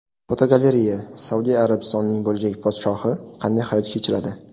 Fotogalereya: Saudiya Arabistonining bo‘lajak podshohi qanday hayot kechiradi?.